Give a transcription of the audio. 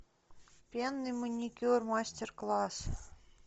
пенный маникюр мастер класс